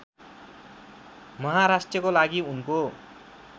महाराष्ट्रको लागि उनको